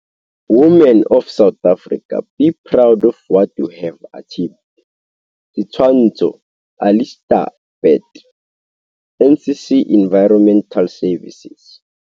"Women of South Africa, be proud of what you have achieved." Setshwantsho - Alistair Burt - NCC Environmental Services.